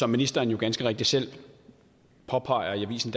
ministeren jo ganske rigtigt selv påpeger i avisen